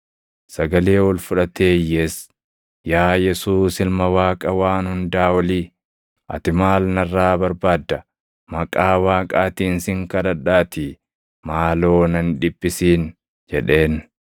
Sagalee ol fudhatee iyyees, “Yaa Yesuus Ilma Waaqa Waan Hundaa Olii, ati maal narraa barbaadda? Maqaa Waaqaatiin sin kadhadhaatii maaloo na hin dhiphisin!” jedheen.